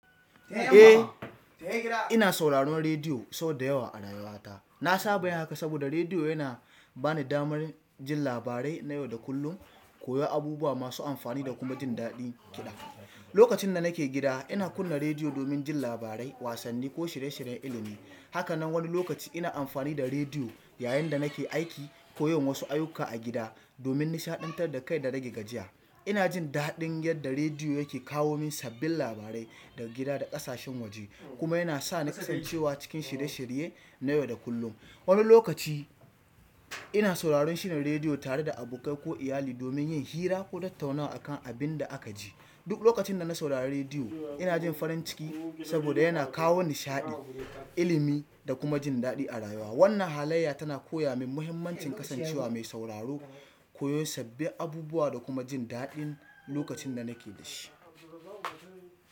Eh, ina sauraron rediyo sau da yawa a rayuwata. Na saba yin haka saboda rediyo yana ba ni damar jin labarai na yau da kullum, koyon abubuwa masu amfani da kuma jin daɗin ƙida. Lokacin da nake gida, ina kunna rediyo domin jin labarai, wasanni ko shirye-shiryen ilimi. Haka nan wani lokaci ina amfani da rediyo yayin da nake aiki ko yin wasu ayyuka a gida domin nishaɗantar da kai da rage gajiya. Ina jin daɗin yadda rediyo yake kawo min sabbin labarai daga gida da ƙasashen waje, kuma yana sa ni kasancewa cikin shirye-shirye na yau da kullum. Wani lokaci ina sauraron shirin rediyo tare da abokai ko iyali domin yin hira ko tattaunawa akan abin da aka ji. Duk lokacin da na saurari rediyo, ina jin farin ciki saboda yana kawo nishaɗi, ilimi da kuma jin daɗi a rayuwa. Wannan halayya tana koya min muhimmancin kasancewa mai sauraro, koyon sabbin abubuwa da kuma jin daɗin lokacin da nake da shi.